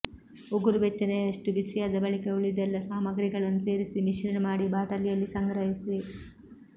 ಉಗುರುಬೆಚ್ಚನೆಯಷ್ಟು ಬಿಸಿಯಾದ ಬಳಿಕ ಉಳಿದೆಲ್ಲಾ ಸಾಮಾಗ್ರಿಗಳನ್ನು ಸೇರಿಸಿ ಮಿಶ್ರಣ ಮಾಡಿ ಬಾಟಲಿಯಲ್ಲಿ ಸಂಗ್ರಹಿಸಿ